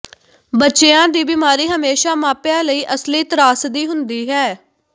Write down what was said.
ਬੱਚਿਆਂ ਦੀ ਬਿਮਾਰੀ ਹਮੇਸ਼ਾ ਮਾਪਿਆਂ ਲਈ ਅਸਲੀ ਤ੍ਰਾਸਦੀ ਹੁੰਦੀ ਹੈ